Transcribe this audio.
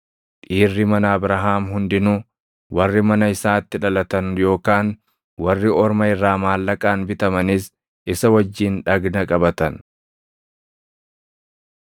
Dhiirri mana Abrahaam hundinuu, warri mana isaatti dhalatan yookaan warri orma irraa maallaqaan bitamanis isa wajjin dhagna qabatan.